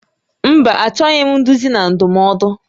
Mba, achọbeghị m nduzi na ndụmọdụ